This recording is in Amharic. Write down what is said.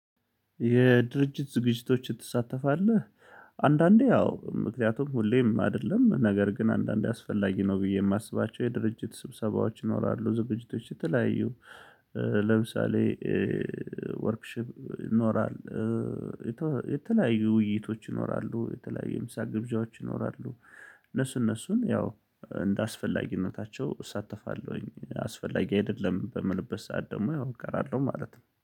የድርጅት ዝግጅቶችን ትሳተፋለህ? አንዳንዴ አዎ ምክንያቱም ሁሌም አይደለም ነገር ግን አንዳንዴ አስፈላጊ ነው። ብዬ የማስባቸው የድርጅት ስብሰባዎች ይኖራሉ ዝግጅቶች የተለያዩ። ለምሳሌ ወርክሺፕ ይኖራል። የተለያዩ ውይይቶች ይኖራሉ የተለያዩ የምሳ ግብዣዎች ይኖራሉ። እነሱ እነሱን ያው እንደ አስፈላጊነታቸው እሳተፋለሁኝ። አስፈላጊ አይደለም በምልበት ሰዓት ደግሞ ያው እቀራለሁ ማለት ነው